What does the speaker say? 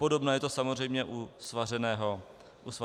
Podobné je to samozřejmě u svařeného vína.